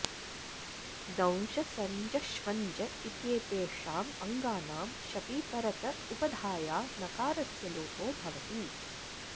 दंश सञ्ज ष्वञ्ज इत्येतेषाम् अङ्गानां शपि परत उपधाया नकारस्य लोपो भवति